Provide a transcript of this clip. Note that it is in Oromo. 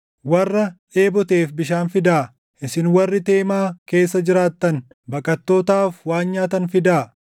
warra dheeboteef bishaan fidaa; isin warri Teemaa keessa jiraattan, baqattootaaf waan nyaatan fidaa.